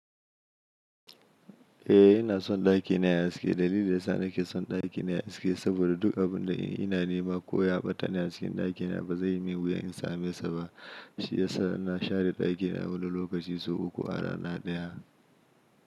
Eh inason ɗakina yayi haske. Dalilin da yasa nake son ɗakina yayi haske saboda duk abinda ina nema ko ya ɓata a cikin ɗakina bazaiyi min wuya in same sa ba. Shiyasa na share ɗakina wani lokaci sau uku a rana ɗaya.